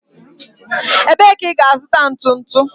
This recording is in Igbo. Ebee ka ị ga-azụta ntu ntu?